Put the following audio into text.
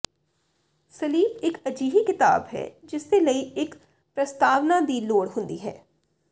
sleep ਇਕ ਅਜਿਹੀ ਕਿਤਾਬ ਹੈ ਜਿਸਦੇ ਲਈ ਇੱਕ ਪ੍ਰਸਤਾਵਨਾ ਦੀ ਲੋੜ ਹੁੰਦੀ ਹੈ